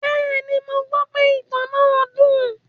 Bẹ́ẹ̀ni, mo gbọ́ pe ìtàn náà dùn.